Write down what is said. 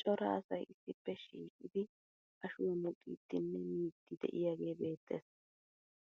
Cora asay issippe shiiqidi ashuwa muxiiddinne miiddi de'iyagee beettes.